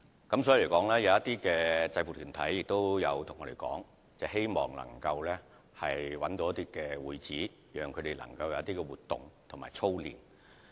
因此，有些制服團體曾經向我們反映，希望能夠找到會址，讓他們可以進行活動及操練。